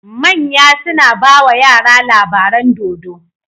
Manya suna bawa yara labaran dodo